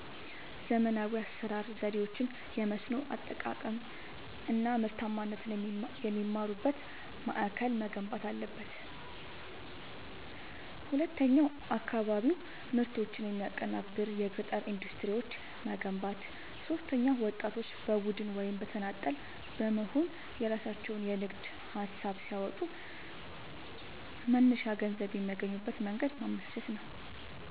ዘመናዊ የአሠራር ዘዴዎችን፣ የመስኖ አጠቃቀም አናምርታማነትን የሚማሩበት ማእከል መገንባት አለበት። ሁለተኛው የአካባቢ ምርቶችን የሚያቀናብር የገጠር ኢንዱስትሪዎችን መገንባት። ሦስተኛው ወጣቶች በቡድን ወይም በተናጠል በመሆንየራሣቸውን የንግድ ሀሳብ ሲያመጡ መነሻ ገንዘብ የሚያገኙበትን መንገድ ማመቻቸት።